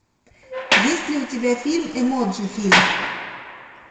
есть ли у тебя фильм эмоджи фильм